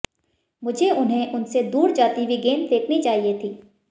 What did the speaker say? मुझे उन्हें उनसे दूर जाती हुए गेंद फेंकनी चाहिए थी